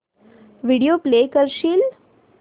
video play करशील